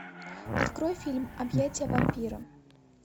открой фильм объятия вампира